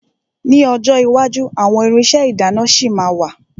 Ní ọjọ́ iwájú àwọn irinṣẹ́ ìdáná ṣì ma wà.